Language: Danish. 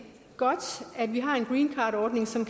godt at vi har en greencardordning som